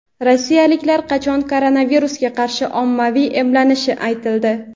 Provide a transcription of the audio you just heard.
Rossiyaliklar qachon koronavirusga qarshi ommaviy emlanishi aytildi.